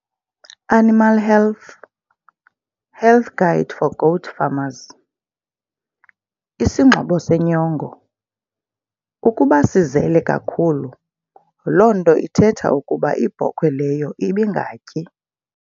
Animal health, health guide for goat farmers. Isingxobo senyongo- Ukuba sizele kakhulu, loo nto ithetha ukuba ibhokhwe leyo ibingatyi.